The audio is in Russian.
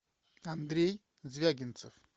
андрей звягинцев